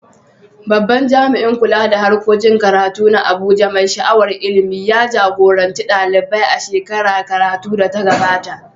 Babban jami’in kula da harkokin karatu na Abuja, mai sha’awar ilimi, ya jagoranci ɗalibai a shekarar karatu da ta gabata.